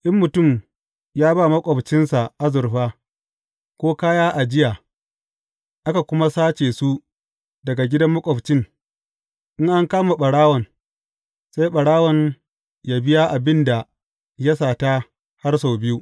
In mutum ya ba maƙwabcinsa azurfa, ko kaya ajiya, aka kuma sace su daga gidan maƙwabcin, in an kama ɓarawon, sai ɓarawon yă biya abin da ya sata har sau biyu.